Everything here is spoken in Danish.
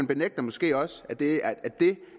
benægter måske også at det